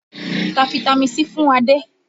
Ta fitami C fún Adé!